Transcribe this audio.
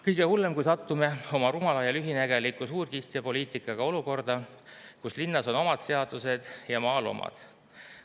Kõige hullem, kui satume oma rumala ja lühinägeliku suurkiskjapoliitikaga olukorda, kus linnas on omad seadused ja maal omad.